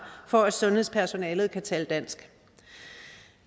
for at sundhedspersonalet kan tale dansk